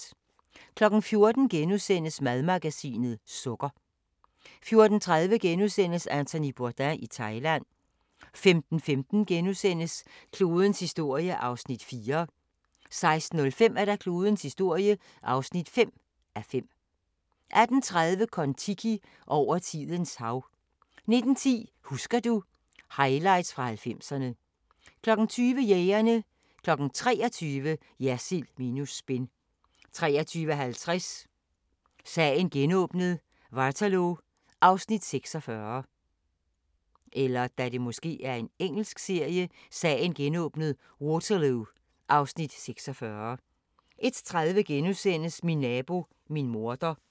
14:00: Madmagasinet – sukker * 14:30: Anthony Bourdain i Thailand * 15:15: Klodens historie (4:5)* 16:05: Klodens historie (5:5) 18:30: Kon-Tiki – over tidens hav 19:10: Husker du ...- Highlights fra 90'erne 20:00: Jægerne 23:00: Jersild minus spin 23:50: Sagen genåbnet: Waterloo (Afs. 46) 01:30: Min nabo, min morder *